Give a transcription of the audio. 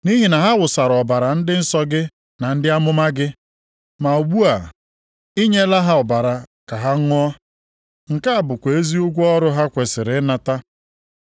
Nʼihi na ha wụsara ọbara ndị nsọ gị na ndị amụma gị. Ma ugbu a, i nyela ha ọbara ka ha ṅụọ. Nke a bụkwa ezi ụgwọ ọrụ ha kwesiri ịnata.”